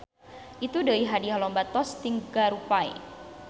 Itu deuih hadiah lomba tos tinggarupay.